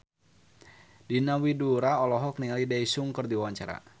Diana Widoera olohok ningali Daesung keur diwawancara